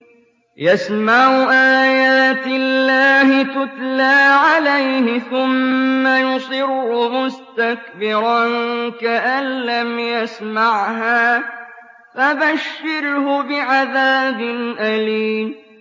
يَسْمَعُ آيَاتِ اللَّهِ تُتْلَىٰ عَلَيْهِ ثُمَّ يُصِرُّ مُسْتَكْبِرًا كَأَن لَّمْ يَسْمَعْهَا ۖ فَبَشِّرْهُ بِعَذَابٍ أَلِيمٍ